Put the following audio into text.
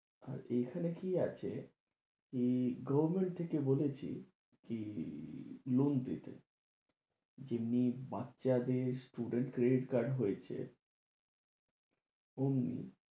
আর এইখানে কি আছে কি government থেকে বলছে কি loan দেবে যেমনি বাচ্চাদের student credit card হয়েছে ওমনি,